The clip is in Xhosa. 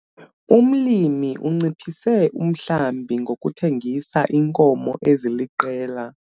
Umlimi unciphise umhlambi ngokuthengisa iinkomo eziliqela.